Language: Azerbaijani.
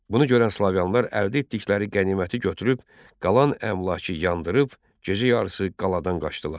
Bunu görən slavyanlar əldə etdikləri qəniməti götürüb, qalan əmlakı yandırıb, gecə yarısı qaladan qaçdılar.